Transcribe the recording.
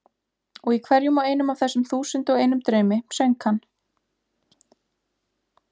Og í hverjum og einum af þessum þúsund og einum draumi söng hann